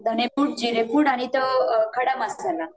धने पूड, जिरे पूड आणि तो खडा मसाला